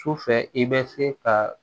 Su fɛ i bɛ se ka